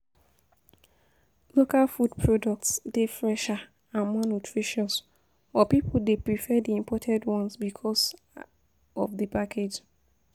Local food products dey fresher and more nutritious, but people dey prefer di imported ones because of di packaging.